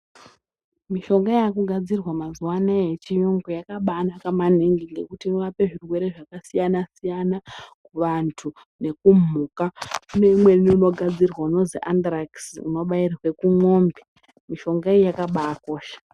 Mishonga yaakugadzirwa mazuwa anaya yechiyungu yakabaanaka maningi ngekuti inorape zvirwere zvakasiyana-siyana kuvantu nekumhuka. Kune umweni unogadzirwa unozi Anzirakisi unobairwe kumwombe. Mushonga iyi yaakabaakosha